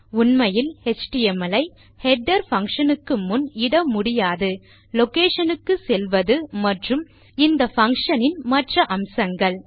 உண்மையில் எச்டிஎம்எல் ஐ header function க்கு முன் இட முடியாது லொகேஷன் க்குச் செல்வது மற்றும் இந்தfunction னின் மற்ற அம்சங்கள்